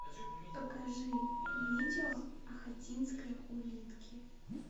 покажи видео ахатинской улитки